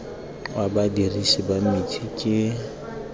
wa badirisi ba metsi ke